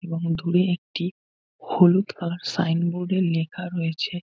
এবং দূরে একটি হলুদ কালার সাইনবোর্ড -এ লেখা রয়েছে।